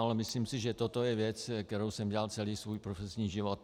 Ale myslím si, že toto je věc, kterou jsem dělal celý svůj profesní život.